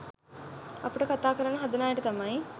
අපිට කතා කරන්න හදන අයට තමයි